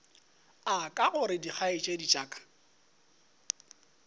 aka gore dikgaetšedi tša ka